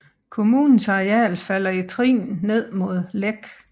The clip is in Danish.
Kommunens areal falder i i trin ned mod Lech